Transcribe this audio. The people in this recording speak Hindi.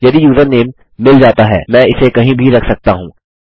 यदि यूज़रनेम मिल जाता है मैं इसे कहीं भी रख सकता हूँ